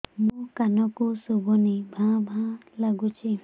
ମୋ କାନକୁ ଶୁଭୁନି ଭା ଭା ଲାଗୁଚି